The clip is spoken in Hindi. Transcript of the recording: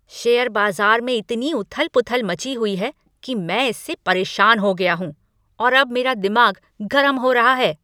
शेयर बाजार में इती उथल पुथल मची हुई है कि मैं इससे परेशान हो गया हूँ और अब मेरा दिमाग गरम हो रहा है।